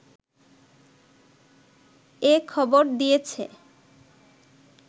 এ খবর দিয়েছে